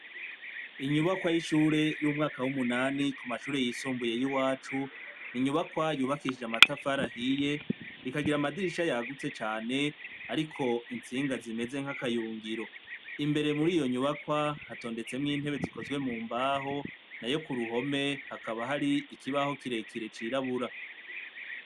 Inyubakwa y'ishure y'umwaka w'umunani ku mashure yisumbuye yiwacu inyubakwa yubakishijwe n'amatafari ahiye ikagira amadirisha yagutse cane ariko intsinga zimeze nk'akayungiro, imbere muriyo nyubakwa hatondetsemwo intebe zikozwe mu mbaho nayo ku ruhome hakaba hari ikibaho kirekire cirabura.